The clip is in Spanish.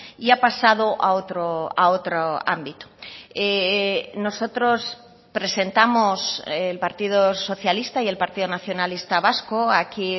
y ha pasado a otro ámbito nosotros presentamos el partido socialista y el partido nacionalista vasco aquí